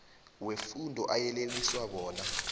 wefundo ayeleliswa bona